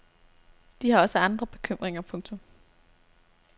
De har også andre bekymringer. punktum